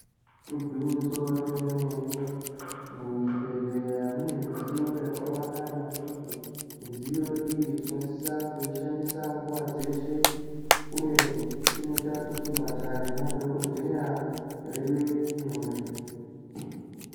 Igwinyiso remene-mene muzvibhedhleya mune midziyo yakawanda maningi. Midziyo iyi tinosisa kuishandisa nguwa dzeshe uye inoita kuti basa remadhagodheya rive nyore.